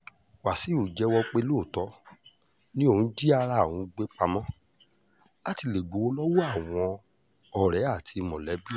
wàṣíù jẹ́wọ́ pé lóòótọ́ ni òun jí ara òun gbé pamọ́ láti lè gbowó lọ́wọ́ àwọn ọ̀rẹ́ àti mọ̀lẹ́bí òun